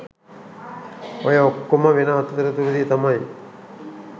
ඔය ඔක්කොම වෙන අතරතුරේ තමයි